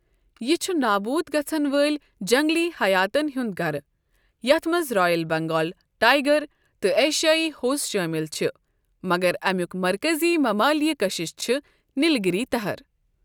یہِ چھُ نابوٗد گژھَن وٲلۍ جنٛگلی حیاتَن ہُنٛد گَرٕ، یَتھ منٛز رائل بنگال ٹائیگر تہٕ ایشیائی ہوٚس شٲمِل چھِ، مگر امیُک مرکٔزی ممالیہ کشش چھِ نیلگیری تہر۔